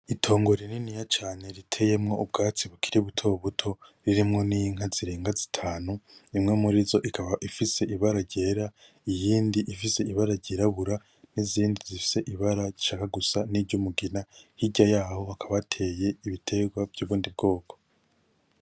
Itongo rininiya cane riteyemwo ubgatsi bukiri buto buto ririmwo n’inka zirenga zitanu imwe muri zo ikaba ifise ibara ryera ,Ig’indi ifise ibara ryirabura ,izindi zifise ibara rishaka gusa nkiry’umugina ,hirya yaho hakaba hateye ibitegwa vyubundi bgoko.